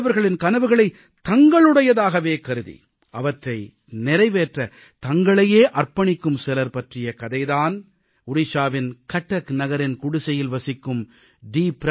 மற்றவர்களின் கனவுகளைத் தங்களுடையதாகவே கருதி அவற்றை நிறைவேற்றத் தங்களையே அர்ப்பணிக்கும் சிலர் பற்றிய கதை தான் ஒடிஷாவின் கட்டக் நகரின் குடிசையில் வசிக்கும் டி